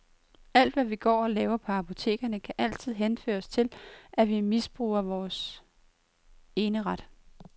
Alt hvad vi går og laver på apotekerne kan altid henføres til, at vi misbruger vores eneret.